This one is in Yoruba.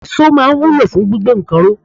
Iso máa ń wúlò fún gbígbé nǹkan ró.